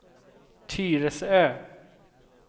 Tyresö